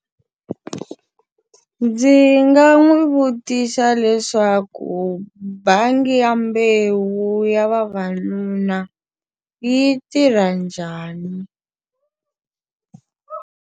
Ndzi nga n'wi vutisa leswaku bangi ya mbewu ya vavanuna yi tirha njhani?